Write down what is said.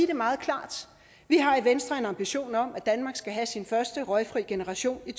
det meget klart vi har i venstre en ambition om at danmark skal have sin første røgfri generation i